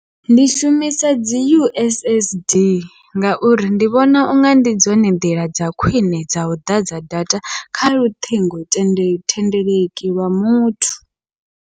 Ndi shumisa dzi U_S_S_D, ngauri ndi vhona unga ndi dzone nḓila dza khwiṋe dza u ḓadza data kha luṱhingothendeleki thendeleki lwa muthu.